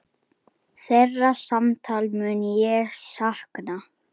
Þeirra samtala mun ég sakna.